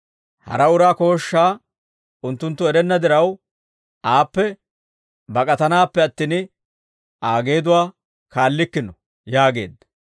Hara uraa kooshshaa unttunttu erenna diraw, aappe bak'atanaappe attin, Aa geeduwaa kaallikkino» yaageedda.